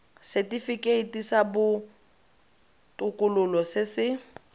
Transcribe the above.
setifikeiti sa botokololo se se